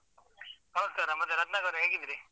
ನಮಸ್ಕಾರ ಮತ್ತೆ ರತ್ನಾಕರ್ ಅವರೆ ಹೇಗಿದ್ದೀರಿ?